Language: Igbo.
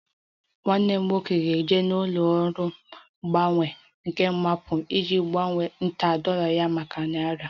Nwanne m nwoke ga-aga na ụlọ ọrụ mgbanwanye nke mpaghara iji gbanwee ndetu dollar ya maka naira